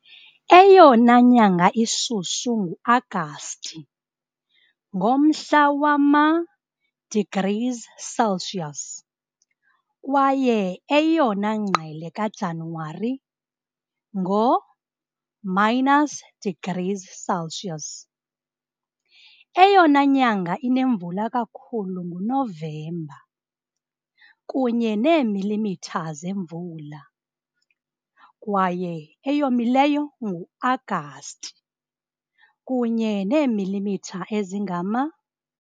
Eyona nyanga ishushu nguAgasti, ngomhla wama degrees Celsius, kwaye eyona ngqele kaJanuwari, ngo minus degrees Celsius. Eyona nyanga inemvula kakhulu nguNovemba, kunye neemilimitha zemvula, kwaye eyomileyo nguAgasti, kunye neemilimitha ezingama .